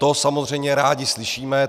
To samozřejmě rádi slyšíme.